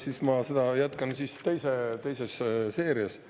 Siis ma jätkan seda teises seerias.